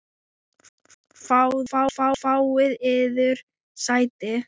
Fáið yður sæti.